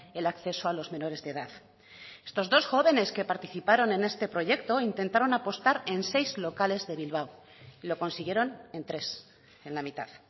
el acceso a los menores de edad estos dos jóvenes que participaron en este proyecto intentaron apostar en seis locales de bilbao lo consiguieron en tres en la mitad